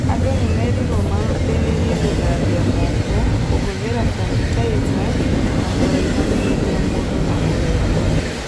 Andũ nĩmerirwo mahĩmbĩrie gũthambia moko, kũhũthĩra canitaica na kũraihanĩrĩria mũndũ na ũrĩa ũngĩ